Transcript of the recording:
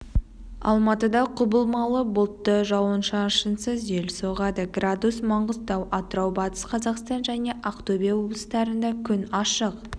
алматыда құбылмалы бұлтты жауын-шашынсыз жел соғады градус маңғыстау атырау батыс қазақстан және ақтөбе облыстарында күн ашық